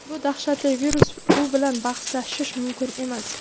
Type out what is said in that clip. Bu dahshatli virus, u bilan bahslashish mumkin emas.